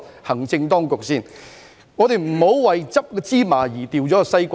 行政當局不應為撿拾芝麻而丟掉西瓜。